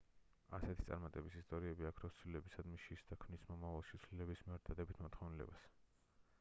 ასეთი წარმატების ისტორიები აქრობს ცვლილებებისადმი შიშს და ქმნის მომავალში ცვლილებების მიმართ დადებით მოთხოვნილებას